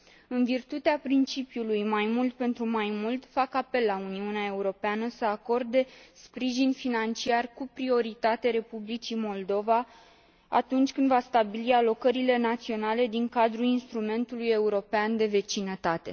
În virtutea principiului mai mult pentru mai mult, fac apel la Uniunea Europeană să acorde sprijin financiar cu prioritate Republicii Moldova atunci când va stabili alocările naționale din cadrul Instrumentului european de vecinătate.